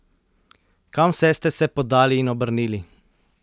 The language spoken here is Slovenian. Kam vse ste se podali in obrnili?